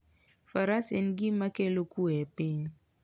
Faras en gima kelo kuwe e piny.